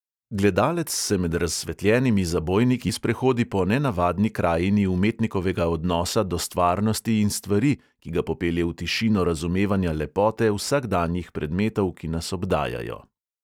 Gledalec se med razsvetljenimi zabojniki sprehodi po nenavadni krajini umetnikovega odnosa do stvarnosti in stvari, ki ga popelje v tišino razumevanja lepote vsakdanjih predmetov, ki nas obdajajo.